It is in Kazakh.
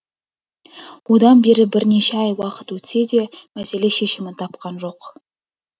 одан бері бірнеше ай уақыт өтсе де мәселе шешімін тапқан жоқ